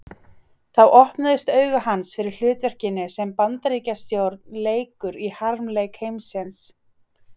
Þá opnuðust augu hans fyrir hlutverkinu sem Bandaríkjastjórn leikur í harmleik heimsins.